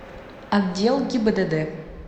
отдел гибдд